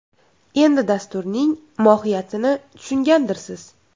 Endi dasturning mohiyatini tushungandirsiz!